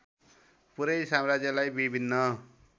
पूरै साम्राज्यलाई विभिन्न